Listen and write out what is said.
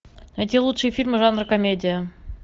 найти лучшие фильмы жанра комедия